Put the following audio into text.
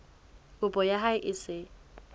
kopo ya hao e se